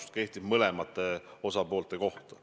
See kehtib mõlema osapoole kohta.